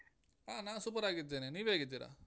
ಹ ನಾ super ಆಗಿದ್ದೇನೆ, ನೀವ್ ಹೇಗಿದ್ದೀರಾ?